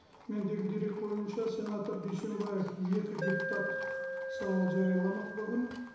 мендегі дерек бойынша сенатор дүйсенбаев екі депутаттық сауал жарияламақ бүгін